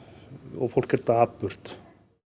og fólk er dapurt